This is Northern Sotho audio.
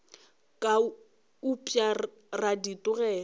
ka upša ra di tlogela